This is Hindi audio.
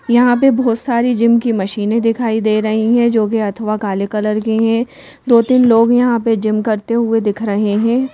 यहां पे बहुत सारी जिम की मशीनें दिखाई दे रही हैं जो कि अथवा काले कलर की हैं दो-तीन लोग यहां पे जिम करते हुए दिख रहे हैं।